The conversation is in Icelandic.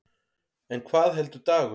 En hvað heldur Dagur?